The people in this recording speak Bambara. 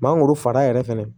Mangoro fara yɛrɛ fɛnɛ